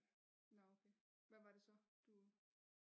Nå okay hvad var det så du